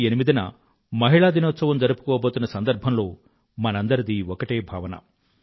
మార్చి 8న మహిళా దినోత్సవం జరుపుకోబోతున్న సందర్భంలో మనందరిదీ ఒకటే భావన